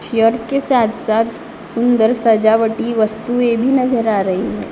के साथ साथ सुन्दर सजावटी वस्तुए भी नज़र आ रही हैं।